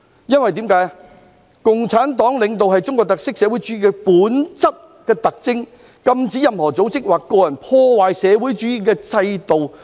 因為"中國共產黨領導是中國特色社會主義最本質的特徵，禁止任何組織或者個人破壞社會主義制度。